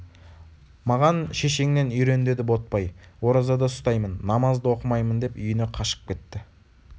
маған шешеңнен үйрен деді ботбай оразада ұстаймын намаз да оқымаймын деп үйіне қашып кетті